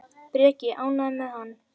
Breki: Ánægður með hann?